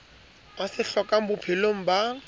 a se hlokang bophelong ba